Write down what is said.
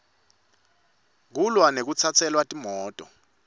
kulwa nekutsatselwa timoto